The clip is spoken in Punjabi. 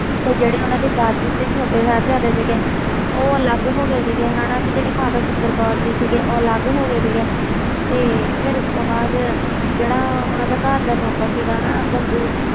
ਤੇ ਜਿਹੜੀ ਉਹਨਾਂ ਦੀ ਦਾਦੀ ਤੇ ਛੋਟੇ ਸਾਹਿਬਜ਼ਾਦੇ ਸੀਗੇ ਉਹ ਅਲੱਗ ਹੋ ਗਏ ਸੀਗੇ ਹਨਾ ਤੇ ਜਿਹੜੀ ਮਾਤਾ ਸੁੰਦਰ ਕੌਰ ਜੀ ਸੀਗੇ ਉਹ ਅਲੱਗ ਹੋ ਗਏ ਸੀਗੇ ਤੇ ਫਿਰ ਉਸ ਤੋਂ ਬਾਅਦ ਜਿਹੜਾ ਉਹਨਾਂ ਦਾ ਘਰ ਦਾ ਨੌਕਰ ਸੀਗਾ ਨਾ ਗੰਗੂ